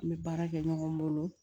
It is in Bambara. N bɛ baara kɛ ɲɔgɔn bolo